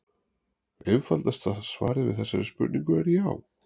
Einfalda svarið við þessari spurningu er já.